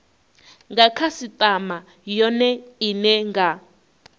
nga khasitama yone ine nga